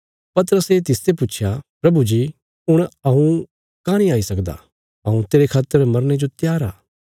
पतरसे तिसते पुच्छया प्रभु जी हुण हऊँ कांह् नीं आई सकदा हऊँ तेरे खातर मरने जो त्यार आ